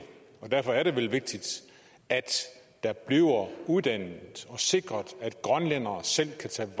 og derfor er det vel vigtigt at der bliver uddannet og sikret at grønlændere selv kan tage